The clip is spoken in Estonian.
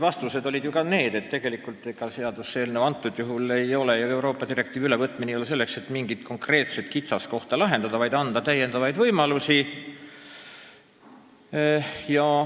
Vastustes oli ju juttu ka sellest, et praegune seaduseelnõu, see Euroopa direktiivi ülevõtmine ei ole mõeldud mingi konkreetse kitsaskoha lahendamiseks, vaid selleks, et anda täiendavaid võimalusi.